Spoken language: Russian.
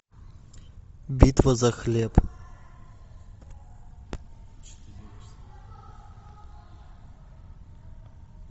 битва за хлеб